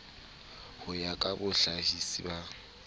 ho ya ka bohlahisi ba